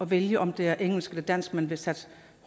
vælge om det er engelsk eller dansk man vil satse